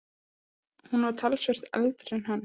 Hún var talsvert eldri en hann.